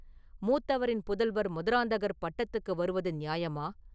மூத்தவரின் புதல்வர் மதுராந்தகர் பட்டத்துக்கு வருவது நியாயமா?